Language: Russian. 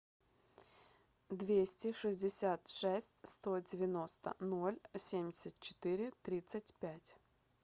двести шестьдесят шесть сто девяносто ноль семьдесят четыре тридцать пять